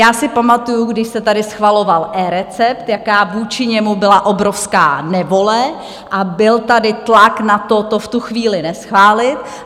Já si pamatuju, když se tady schvaloval eRecept, jaká vůči němu byla obrovská nevole, a byl tady tlak na to, to v tu chvíli neschválit.